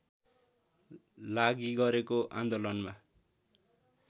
लागि गरेको आन्दोलनमा